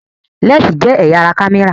Lẹ́ǹsì jẹ́ ẹ̀yà ara kámẹ́rà